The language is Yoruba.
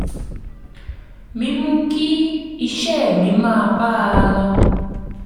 mímú kí iṣẹ́ mi máa bá a lọ